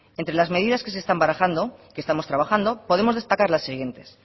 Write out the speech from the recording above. entre las medidas que se están barajando que estamos trabajando podemos destacar las siguientes